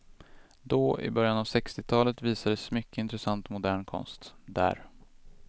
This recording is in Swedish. Då, i början av sextiotalet, visades mycket intressant modern konst där.